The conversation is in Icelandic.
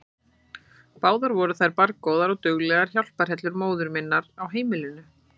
Báðar voru þær barngóðar og duglegar hjálparhellur móður minnar á heimilinu.